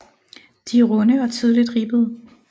De er runde og tydeligt ribbede